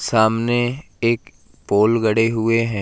सामने एक पोल गड़े हुए हैं।